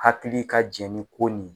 Hakili ka jɛn ni ko nin ye.